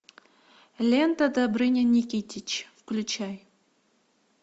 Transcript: лента добрыня никитич включай